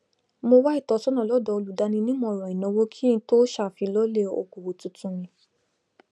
mo wá ìtọsọnà lọdọ olùdáninímọràn ìnáwó kí n tó ṣàfilọlẹ okòwò tuntun mí